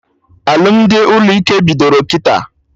Alụmdi ụlọ ike bidoro kịta